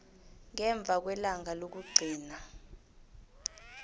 ngemva kwelanga lokugcina